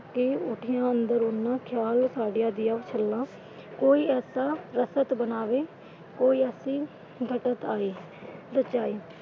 ਕਿ ਉਠੀਆਂ ਅੰਦਰੋਂ ਉਨ੍ਹਾਂ ਖ਼ਿਆਲ ਸਾਡੀਆਂ ਦੀਆਂ ਛੱਲਾਂ, ਕੋਈ ਇਸ ਤਰਾਂ ਰਫਤ ਬਣਾਵੇ। ਕੋਈ ਅਸੀਂ ਘਟਤ ਆਏ ਬਚਾਏ।